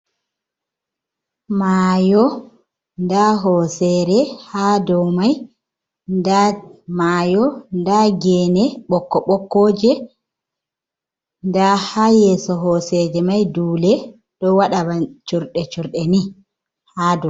Mayo, nda hosere ha dou mai, nda mayo, nda gene ɓokko-ɓokkoje, nda ha yeso hoseje mai dule ɗo waɗa ban curɗe curɗe ni ha dou.